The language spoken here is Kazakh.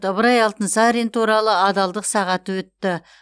ыбырай алтынсарин туралы адалдық сағаты өтті